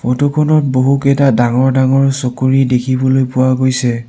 ফটোখনত বহুকেইটা ডাঙৰ ডাঙৰ চকৰী দেখিবলৈ পোৱা গৈছে।